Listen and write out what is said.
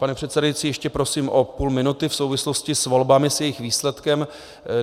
Pane předsedající, ještě prosím o půl minuty v souvislosti s volbami, s jejich výsledkem.